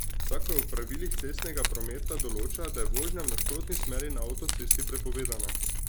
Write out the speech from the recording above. Zakon o pravilih cestnega prometa določa, da je vožnja v nasprotni smeri na avtocesti prepovedana.